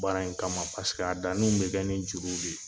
Baara in kama a danniw be kɛ ni juruw de ye.